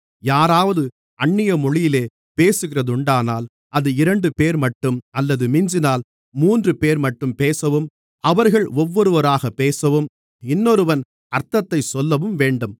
யாராவது அந்நிய மொழியிலே பேசுகிறதுண்டானால் அது இரண்டுபேர்மட்டும் அல்லது மிஞ்சினால் மூன்றுபேர்மட்டும் பேசவும் அவர்கள் ஒவ்வொருவராகப் பேசவும் இன்னொருவன் அர்த்தத்தைச் சொல்லவும் வேண்டும்